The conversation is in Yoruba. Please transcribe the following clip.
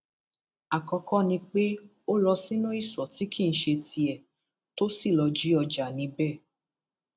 àkọkọ ni pé ó lọ sínú ìṣó tí kì í ṣe tiẹ tó sì lọọ jí ọjà níbẹ